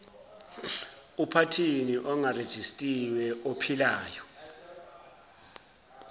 uphathini ongarejistiwe ophilayo